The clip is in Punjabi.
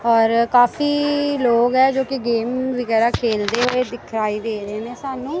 ਔਰ ਕਾਫੀ ਲੋਗ ਹੈਂ ਜੋ ਕਿ ਗੇਮ ਵਗੈਰਾ ਖੇਲਦੇ ਹੋਏ ਦਿਖਾਈ ਦੇ ਰਹੇ ਨੇਂ ਸਾਨੂੰ।